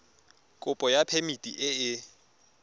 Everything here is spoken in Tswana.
kopo ya phemiti e e